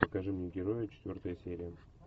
покажи мне героя четвертая серия